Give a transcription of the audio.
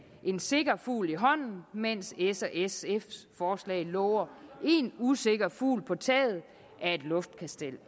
en sikker fugl i hånden mens s og sfs forslag lover en usikker fugl på taget af et luftkastel